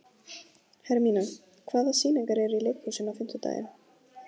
Hermína, hvaða sýningar eru í leikhúsinu á fimmtudaginn?